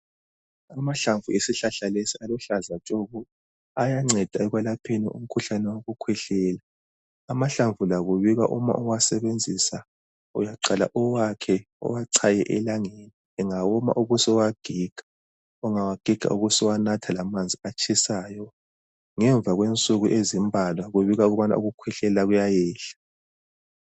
Amahlamvu esihlahla lesi aluhlaza tshoko. Ayanceda ekwelapheni umkhuhlane wokukhwehlela .Amahlamvu lakubikwa uma uwasebenzisa uyaqala uwakhe uwachaye elangeni engawoma ubusuwagiga .Ungawagiga ubusuwanatha lamanzi atshisayo .Ngemva kwensuku ezimbalwa kubikwa ukubana ukukhwehlela kuyayehla .